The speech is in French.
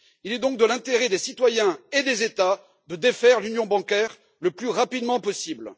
Il est donc dans l'intérêt des citoyens et des États de défaire l'union bancaire le plus rapidement possible.